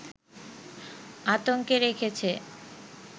আতঙ্কে রেখেছে